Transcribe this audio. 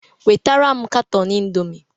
wetara m katọn indomi!